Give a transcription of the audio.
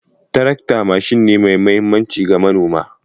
Tarakta mashin ne mai mahimmanci ma mana